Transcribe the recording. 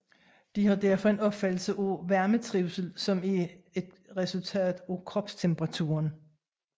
De har derfor en opfattelse af varmetrivsel som et resultat af kropstemperaturen